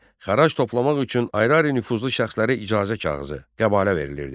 Xərac toplamaq üçün ayrı-ayrı nüfuzlu şəxslərə icazə kağızı, qəbalə verilirdi.